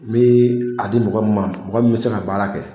Me a di mɔgɔ min ma, mɔgɔ min bɛ se ka baara kɛ.